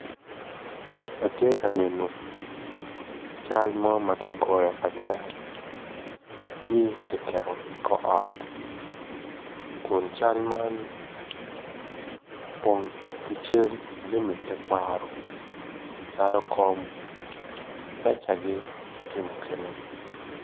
Atye ka neno cal mo ma kigoyo agoya ci kiketo ikor ot kun cal man opong ki cal jami tekwaro calo kom mecagi ki jami mukene